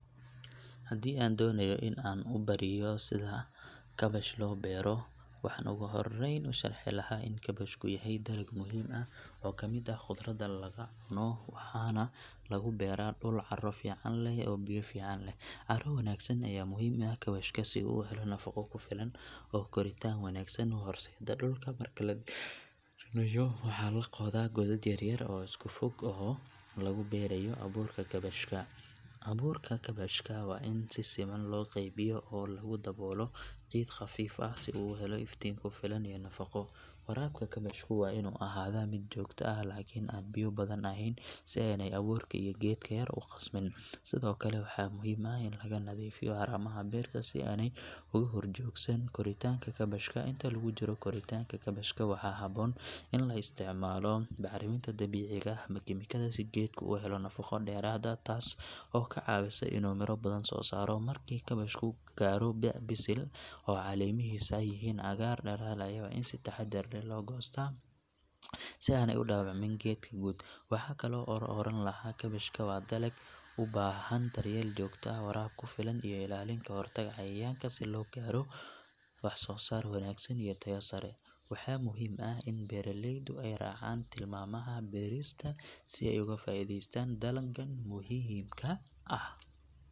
Haddii aan doonayo in aan ubariyo sida kabash loo beero waxaan ugu horreyn u sharxi lahaa in kabashku yahay dalag muhiim ah oo ka mid ah khudradda laga cuno waxaana lagu beeraa dhul carro fiican leh oo biyo fiican helo. Carro wanaagsan ayaa muhiim u ah kabashka si uu u helo nafaqo ku filan oo koritaan wanaagsan u horseeda. Dhulka marka la diyaarinayo waxaa la qodaa godad yar yar oo isku fog oo lagu beerayo abuurka kabashka. Abuurka kabashka waa in si siman loo qaybiyo oo lagu daboolaa ciid khafiif ah si uu u helo iftiin ku filan iyo nafaqo. Warabka kabashku waa inuu ahaadaa mid joogto ah laakiin aan biyo badan ahayn si aanay abuurka iyo geedka yar u qasmin. Sidoo kale waxaa muhiim ah in laga nadiifiyo haramaha beerta si aanay uga horjoogsan koritaanka kabashka. Inta lagu jiro koritaanka kabashka waxaa haboon in la isticmaalo bacriminta dabiiciga ah ama kiimikada si geedku u helo nafaqo dheeraad ah taas oo ka caawisa inuu miro badan soo saaro. Markii kabashku gaadho da’ bisil oo caleemihiisu yihiin cagaar dhalaalaya waa in si taxaddar leh loo goostaa si aanay u dhaawacmin geedka guud. Waxaan kaloo oran lahaa kabashka waa dalag u baahan daryeel joogto ah, waraab ku filan iyo ilaalin ka hortag cayayaan si loo gaaro wax soo saar wanaagsan iyo tayo sare. Waxaa muhiim ah in beeraleydu ay raacaan tilmaamaha beerista si ay uga faa’iidaystaan dalaggan muhiimka ah.